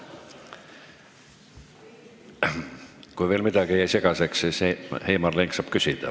Kui midagi jäi veel segaseks, siis Heimar Lenk saab küsida.